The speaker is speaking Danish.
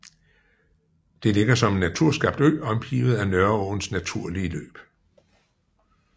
Det ligger som en naturskabt ø omgivet af Nørreåens naturlige løb